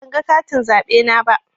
Ban ga katin zaɓe na ba.